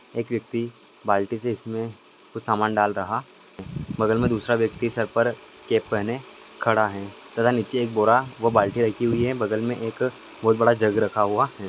एक व्यक्ति बाल्टी से इसमें कुछ सामान डाल रहा है बगल में दूसरा व्यक्ति सर पर कैप पहने खड़ा है तथा नीचे एक बोरा व बाल्टी रखी हुई है बगल में एक बहोत बड़ा जग रखा हुआ है।